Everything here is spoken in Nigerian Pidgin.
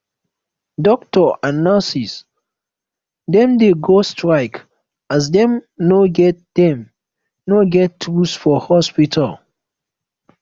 doctor and nurse dem dey go strike as dem no get dem no get tools for hospital